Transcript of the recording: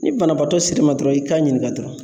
Ni banabaatɔ sirima dɔrɔn i k'a ɲininka dɔrɔn